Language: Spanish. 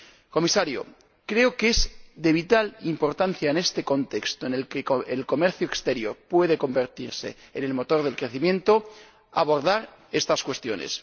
Comisario, creo que es de vital importancia, en este contexto en el que el comercio exterior puede convertirse en el motor del crecimiento, abordar estas cuestiones.